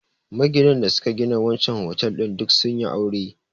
Maginan da suka gina wancen otal ɗin duk sun yi aure